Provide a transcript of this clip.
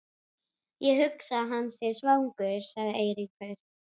Ég hugsa að hann sé svangur sagði Eiríkur.